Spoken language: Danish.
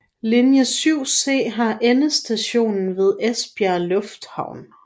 Linje 7C har endestation ved Esbjerg Lufthavn